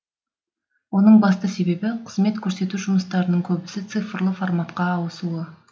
оның басты себебі қызмет көрсету жұмыстарының көбісі цифрлы форматқа ауысуы